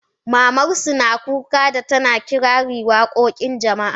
Maman su na kuka da tana kirari wakokin jama'a.